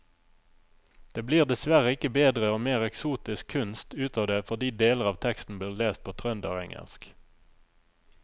Det blir dessverre ikke bedre og mer eksotisk kunst ut av det fordi deler av teksten blir lest på trønderengelsk.